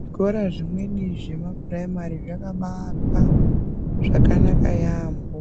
Zvikora zvimweni zvemapuraimari zvakabaakwa zvakanaka yaamho.